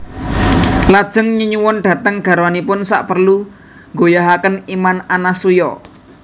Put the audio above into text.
Lajeng nyeyuwun dhateng garwanipun saperlu nggoyahaken iman Anasuya